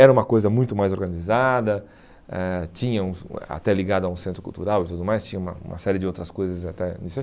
Era uma coisa muito mais organizada, eh tinham até ligado a um centro cultural e tudo mais, tinha uma uma série de outras coisas até.